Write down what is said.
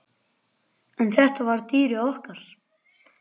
En þetta var dýrið okkar.